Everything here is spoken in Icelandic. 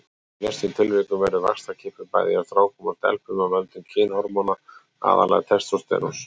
Í flestum tilvikum verður vaxtarkippur hjá bæði strákum og stelpum af völdum kynhormóna, aðallega testósteróns.